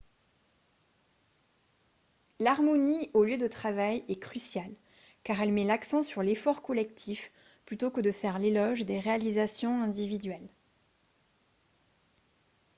l'harmonie au lieu de travail est cruciale car elle met l'accent sur l'effort collectif plutôt que de faire l'éloge des réalisations individuelles